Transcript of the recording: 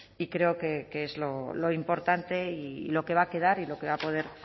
y creo que es lo importante y lo que va a quedar y lo que va a poder